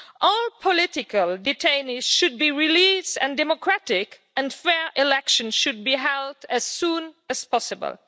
All political detainees should be released and democratic and fair elections should be held as soon as possible.